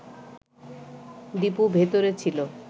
দীপু ভেতরে ছিল